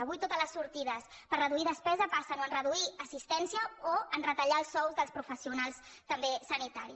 avui totes les sortides per reduir despesa passen o per reduir assistència o per retallar els sous dels professio·nals també sanitaris